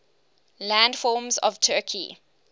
landforms of turkey